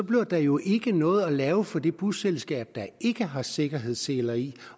bliver der jo ikke noget at lave for det busselskab der ikke har sikkerhedsseler i